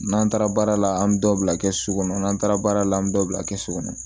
N'an taara baara la an bi dɔ bila kɛsu kɔnɔ n'an taara baara la an be dɔ bila kɛsu kɔnɔ